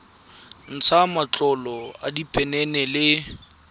ntsha matlolo a diphenene le